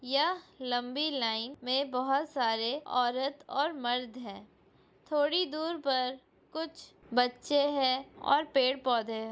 यह लम्बी लाइन मे बहोत सारे औरत और मर्द है थोड़ी दूर पर कुछ बच्चे है और पेड़-पौधे है।